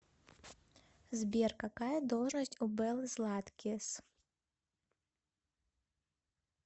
сбер какая должность у беллы златкис